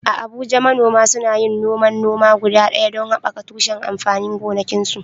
A Abuja, manoma suna yin noman noma guda ɗaya don haɓaka tushen amfanin gonakinsu.